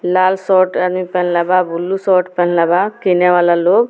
लाल short आदमी पेहनले बा बुल्लू शोट पेनहले बा किने वाला लोग।